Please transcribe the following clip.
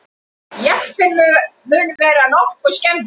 Jeppinn mun vera nokkuð skemmdur